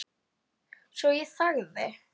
Svo ég þagði.